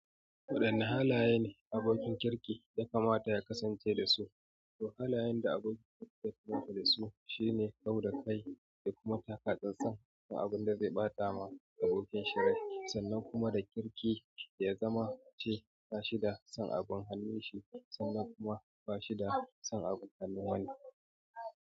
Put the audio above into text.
Waɗanne halaye ne abokin kirki ya kamata ya kasance da su? Waɗannan halayen da abokin kirki ya kamata da su shine, kau da kai da kuma taka tsantsan ga abun da zai ɓata ma abokin shi rai, sannan kuma da kirki ya zama ce bashi da son abin hannun shi sannan kuma bashi da son abin hannun wani.